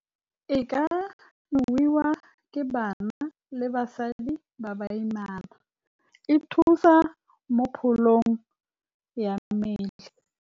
E ka nowa ke banna le basadi ba baimana, E thusa mo pholong ya mmele.